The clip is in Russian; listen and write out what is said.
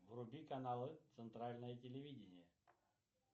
вруби каналы центральное телевидение